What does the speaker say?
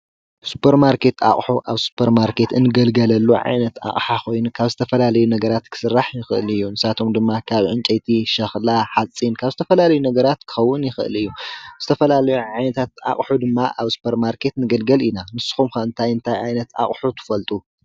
ሱፐርማርኬት ኣቁሑ ኣብ ሱፐርማርኬት እንግልገለሉ ዓይነት ኣቅሓ ኮይኑ ካብ ዝተፈላለዩ ነገራት ክስራሕ ይክእል እዩ:: ንሳቶም ድማ ካብ ዕንጨይቲ ሸክላ ሓፂን ካብ ዝተፈላለዩ ክከዉን ይክእል እዩ ዝተፈላለየ ዓይነታት ኣቁሑ ድማ ኣብ ሱፐርማርኬት ንግልገል ኢና ንስኩም ከ እንታይ እንታይ ዓይነት ኣቁሑ ትፈልጡ?